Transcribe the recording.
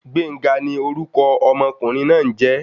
Gbenga ni orúkọ ọmọkùnrin náà n jé